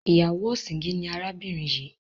ìyáwó ọ̀sìngín ni arábìnrin yìí.